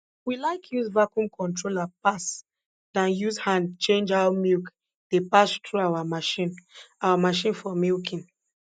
we like use vacuum controller pass dan use hand change how milk dey pass through our machine our machine for milking